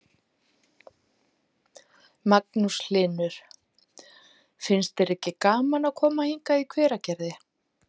Magnús Hlynur: Finnst þér ekki gaman að koma hingað í Hveragerði?